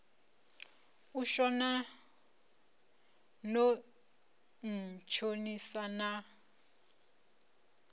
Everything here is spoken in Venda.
u shona no ntshonisa na